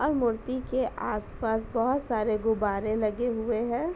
और मूर्ति के आस-पास बोहोत सारे गुब्बारे लगे हुए हैं।